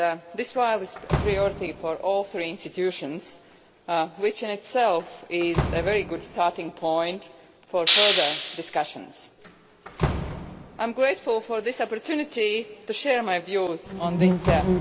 This issue has been a priority for all three EU institutions, which in itself is a very good starting point for further discussions. I am grateful for this opportunity to share my views on it.